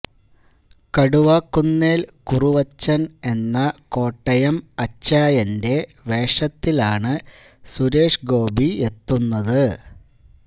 കടുവാക്കുന്നേൽ കുറുവച്ചൻ എന്ന കോട്ടയം അച്ചായന്റെ വേഷത്തിലാണ് സുരേഷ് ഗോപിയെത്തുന്നത്